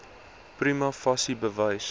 prima facie bewys